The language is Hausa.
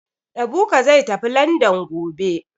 Ebuka zai tafi Landan gobe